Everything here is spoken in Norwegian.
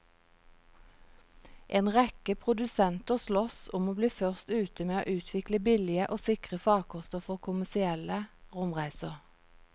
En rekke produsenter sloss om å bli først ute med å utvikle billige og sikre farkoster for kommersielle romreiser.